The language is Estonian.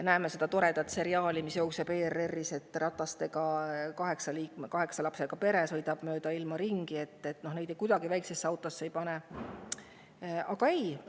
Sellest toredast seriaalist, mis jookseb ERR-is – " ratastel" –, kus kaheksa lapsega pere sõidab mööda ilma ringi, on ju näha, et väikesesse autosse neid mitte kuidagi ei.